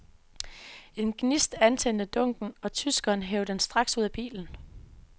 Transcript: En gnist antændte dunken, og tyskeren hev den straks ud af bilen.